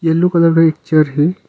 Yellow colour का एक chair है।